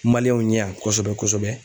ɲɛ yan kosɛbɛ kosɛbɛ.